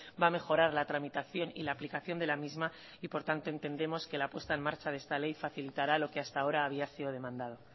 va a mejorar la tramitación y la aplicación de la misma y por tanto entendemos que la puesta en marcha de esta ley facilitará lo que hasta ahora había sido demandado